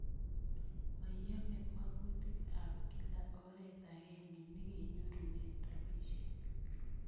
Mayome makutik ap kila oret akenge ne kenyorune rapisyek